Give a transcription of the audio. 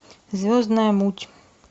звездная муть